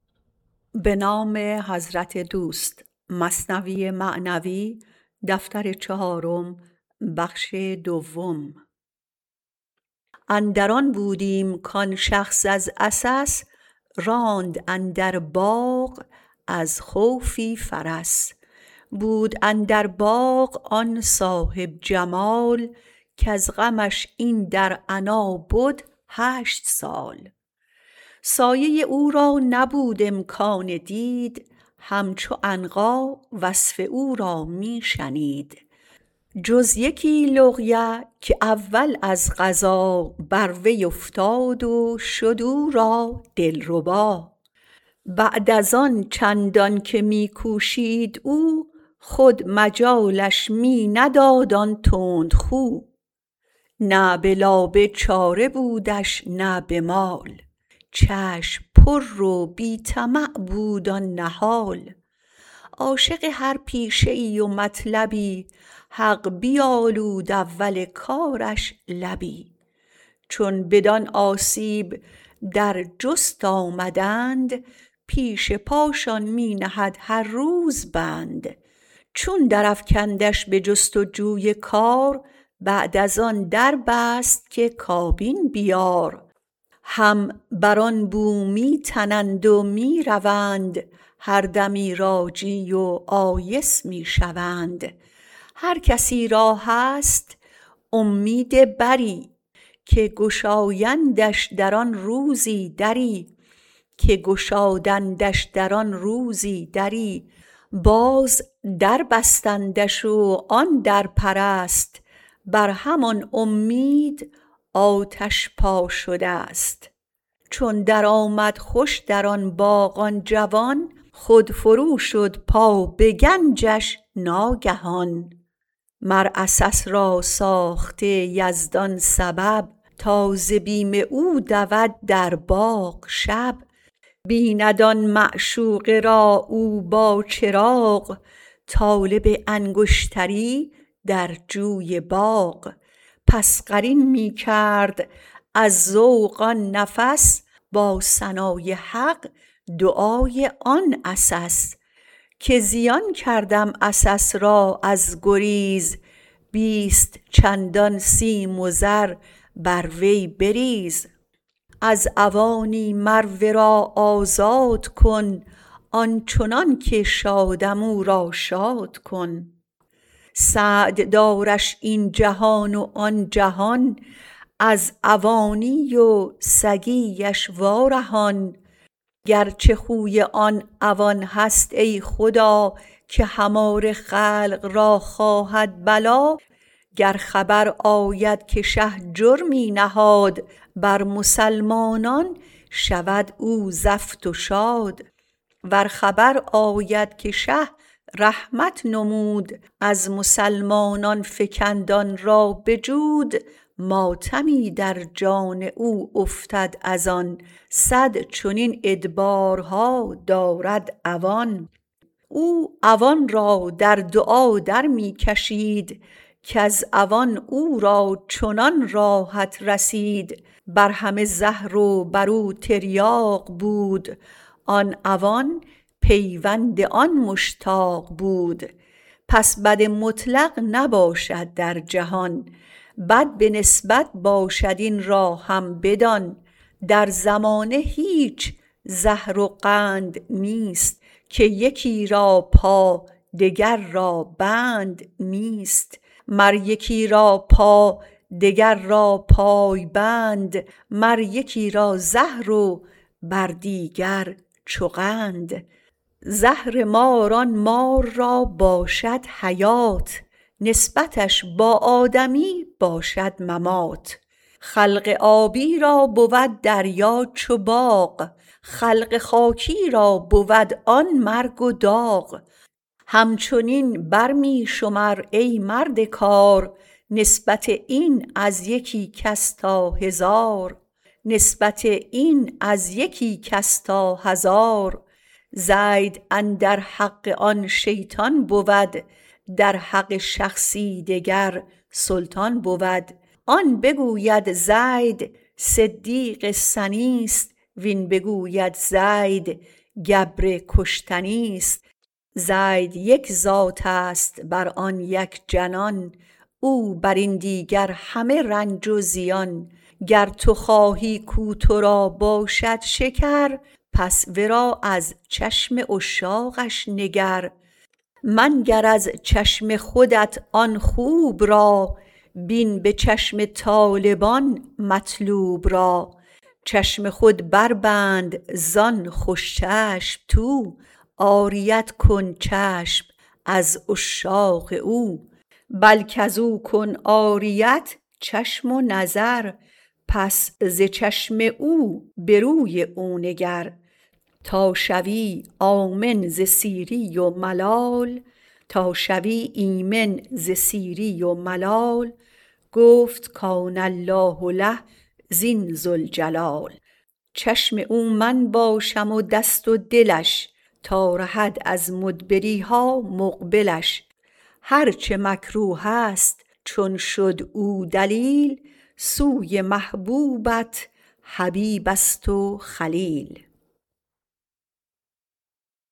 اندر آن بودیم کان شخص از عسس راند اندر باغ از خوفی فرس بود اندر باغ آن صاحب جمال کز غمش این در عنا بد هشت سال سایه او را نبود امکان دید هم چو عنقا وصف او را می شنید جز یکی لقیه که اول از قضا بر وی افتاد و شد او را دلربا بعد از آن چندان که می کوشید او خود مجالش می نداد آن تندخو نه به لابه چاره بودش نه به مال چشم پر و بی طمع بود آن نهال عاشق هر پیشه ای و مطلبی حق بیالود اول کارش لبی چون بدان آسیب در جست آمدند پیش پاشان می نهد هر روز بند چون در افکندش بجست و جوی کار بعد از آن در بست که کابین بیار هم بر آن بو می تنند و می روند هر دمی راجی و آیس می شوند هر کسی را هست اومید بری که گشادندش در آن روزی دری باز در بستندش و آن درپرست بر همان اومید آتش پا شدست چون درآمد خوش در آن باغ آن جوان خود فرو شد پا به گنجش ناگهان مر عسس را ساخته یزدان سبب تا ز بیم او دود در باغ شب بیند آن معشوقه را او با چراغ طالب انگشتری در جوی باغ پس قرین می کرد از ذوق آن نفس با ثنای حق دعای آن عسس که زیان کردم عسس را از گریز بیست چندان سیم و زر بر وی بریز از عوانی مر ورا آزاد کن آنچنان که شادم او را شاد کن سعد دارش این جهان و آن جهان از عوانی و سگی اش وا رهان گرچه خوی آن عوان هست ای خدا که هماره خلق را خواهد بلا گر خبر آید که شه جرمی نهاد بر مسلمانان شود او زفت و شاد ور خبر آید که شه رحمت نمود از مسلمانان فکند آن را به جود ماتمی در جان او افتد از آن صد چنین ادبارها دارد عوان او عوان را در دعا در می کشید کز عوان او را چنان راحت رسید بر همه زهر و برو تریاق بود آن عوان پیوند آن مشتاق بود پس بد مطلق نباشد در جهان بد به نسبت باشد این را هم بدان در زمانه هیچ زهر و قند نیست که یکی را پا دگر را بند نیست مر یکی را پا دگر را پای بند مر یکی را زهر و بر دیگر چو قند زهر مار آن مار را باشد حیات نسبتش با آدمی باشد ممات خلق آبی را بود دریا چو باغ خلق خاکی را بود آن مرگ و داغ همچنین بر می شمر ای مرد کار نسبت این از یکی کس تا هزار زید اندر حق آن شیطان بود در حق شخصی دگر سلطان بود آن بگوید زید صدیق سنیست وین بگوید زید گبر کشتنیست گر تو خواهی کو ترا باشد شکر پس ورا از چشم عشاقش نگر منگر از چشم خودت آن خوب را بین به چشم طالبان مطلوب را چشم خود بر بند زان خوش چشم تو عاریت کن چشم از عشاق او بلک ازو کن عاریت چشم و نظر پس ز چشم او بروی او نگر تا شوی آمن ز سیری و ملال گفت کان الله له زین ذوالجلال چشم او من باشم و دست و دلش تا رهد از مدبریها مقبلش هر چه مکروه ست چون شد او دلیل سوی محبوبت حبیبست و خلیل